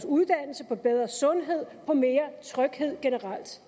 uddannelse på bedre sundhed på mere tryghed generelt